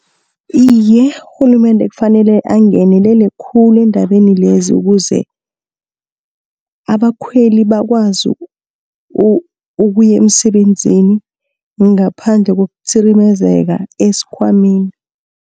Iye urhulumende kufanele angenelele khulu eendabeni lezi, ukuze abakhweli bakwazi ukuya emsebenzini ngaphandle kokutsirimezeka esikhwameni.